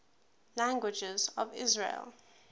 languages of israel